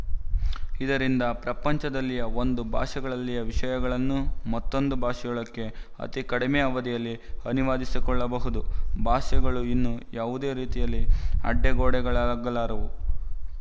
ಇದರಿಂದ ಪ್ರಪಂಚದಲ್ಲಿಯ ಒಂದು ಭಾಷೆಯಲ್ಲಿಯ ವಿಶಯಗಳನ್ನು ಮತ್ತೊಂದು ಭಾಷೆಯೊಳಕ್ಕೆ ಅತಿಕಡಿಮೆ ಅವಧಿಯಲ್ಲಿ ಅನುವಾದಿಸಿಕೊಳ್ಳಬಹುದು ಭಾಷೆಗಳು ಇನ್ನು ಯಾವುದೇ ರೀತಿಯಲ್ಲಿ ಅಡ್ಡಗೋಡೆಗಳಾಗಲಾರವು